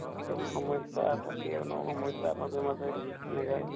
এক্দম সমস্যা থাকে ন সমস্যা মাজে মাজে এনেকা আৰু